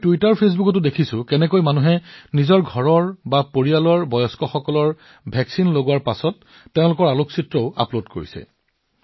মই টুইটাৰফেচবুকতো দেখা পাইছো যে মানুহবোৰে কেনেকৈ তেওঁলোকৰ ঘৰত বৃদ্ধসকলে ভেকচিন গ্ৰহণ কৰাৰ পিছত ফটো আপলোড কৰি আছে